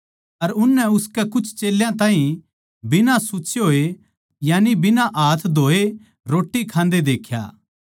अर उननै उसके कुछ चेल्यां ताहीं बिना सुच्चे होए यानिके बिना हाथ धोए रोट्टी खांदे देख्या